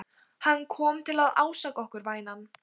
Hann kom til að ásaka okkur, vænan.